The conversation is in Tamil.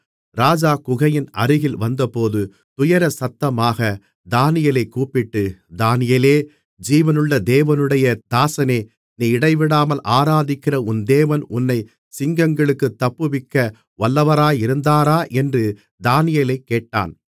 ராஜா குகையின் அருகில் வந்தபோது துயரசத்தமாகத் தானியேலைக் கூப்பிட்டு தானியேலே ஜீவனுள்ள தேவனுடைய தாசனே நீ இடைவிடாமல் ஆராதிக்கிற உன் தேவன் உன்னைச் சிங்கங்களுக்குத் தப்புவிக்க வல்லவராயிருந்தாரா என்று தானியேலைக் கேட்டான்